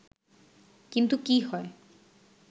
কিন্তু কী হয়